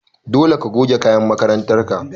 Dole ka goge kayan makarantar ka!